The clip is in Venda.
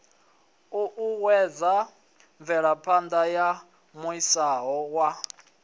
uuwedza mvelaphana ya muaisano wa